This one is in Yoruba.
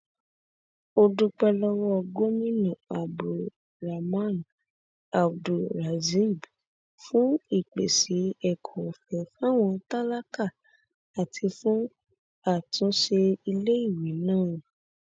ó dúpẹ lọwọ gomina abdulrahman abdulrazib fún ìpèsè ẹkọ ọfẹ fáwọn tálákà àti fún àtúnṣe iléèwé náà